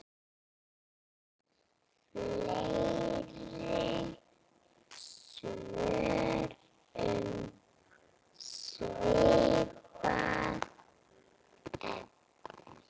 Fleiri svör um svipað efni